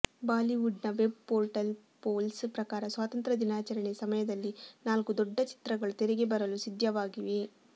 Bollywood ನ web portals polls ಪ್ರಕಾರ ಸ್ವಾತಂತ್ಯ ದಿನಾಚರಣೆಯ ಸಮಯದಲ್ಲಿ ನಾಲ್ಕು ದೊಡ್ಡ ಚಿತ್ರಗಳು ತೆರೆಗೆ ಬರಲು ಸಿದ್ಧವಾಗಿವೆ